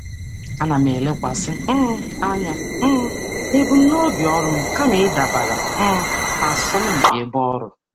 Ana m elekwasị anya na ebumnuche ọrụ m kama ịdabara n'asọmpi ebe ọrụ.